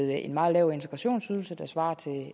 med en meget lav integrationsydelse der svarer til